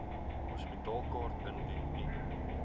hospitaalkaart indien u